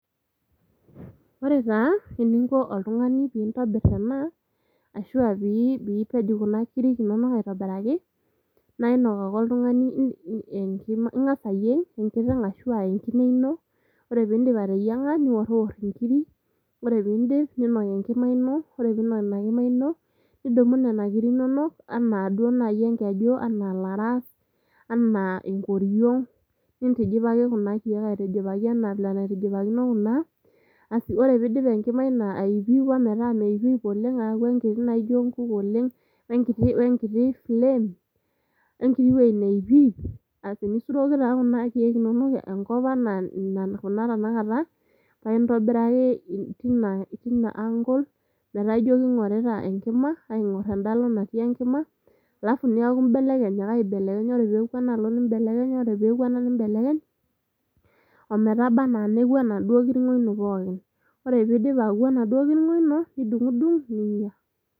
ore taa eninko oltung'ani pintobirr ena ashua pii piipej kuna kirik inonok aitobiraki naa inok ake oltung'ani enkima, ing'as ayieng enkiteng ashu enkine ino ore pindip ateyiang'a niworiwor inkiri ore pindip ninok enkima ino ore piinok ina kima ino nidumu nena kiri inonok anaa duo naaji enkeju anaa ilaras anaa enkoriong nintijipaki kuna kiek aitijipaki enaa vile enaitijipakino kuna asi ore piidip enkima ayupuyupo metaa meipip oleng aaku enkiti naijo inkuk oleng wenkiti flame, wenkiti wueji neipip asi nisuroki taaa kuna kiek inonok enkop anaa nena kuna tenakata paintobiraki tina angle metaa ijo king'orita enkima aing'orr enda alo natii enkima alafu niaku imbelekeny ake aibelekeny ore peeku enaalo nimbelekeny ore peeku ena nimbelekeny ometaba anaa neku enaduo kirng'o ino pookin ore piidip aku enaduo kirng'o ino nidung'udung ninyia